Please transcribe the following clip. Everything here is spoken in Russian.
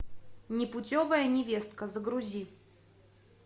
непутевая невестка загрузи